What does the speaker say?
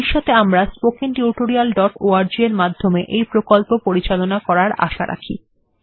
ভবিষ্যতে আমরা spoken tutorialঅর্গ এর মাধ্যমে এই প্রকল্প পরিচালনা করার আশা রাখি